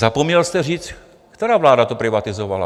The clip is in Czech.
Zapomněl jste říct, která vláda to privatizovala.